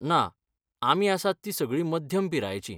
ना आमी आसात तीं सगळीं मध्यम पिरायेचीं.